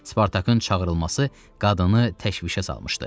Spartakın çağırılması qadını təşvişə salmışdı.